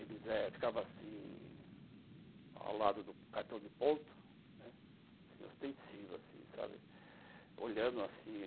Eles eh ficavam assim, ao lado do cartão de ponto, né, ostensivos, assim, sabe, olhando assim.